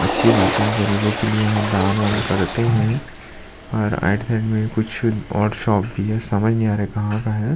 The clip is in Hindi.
अच्छी बात हैं गरीबो के लिए यहाँ दान वान करते है और राईट साइड अं कुछ और शॉप भी है समझ नहीं आ रहा कहाँ का है ।